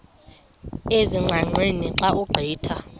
ezingqaqeni xa ugqitha